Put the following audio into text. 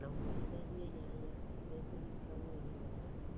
na wohĩthanĩe nyanya ũtekũnyĩtĩa mũno nĩgetha ĩkũre